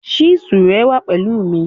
Chísù rẹ wà pẹ̀lú mi.